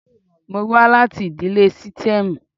Mo wá láti ìdílé sítẹ́ẹ́mù.